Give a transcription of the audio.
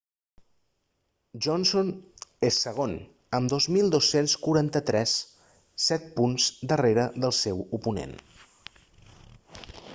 johnson és segon amb 2.243 set punts per darrere del seu oponent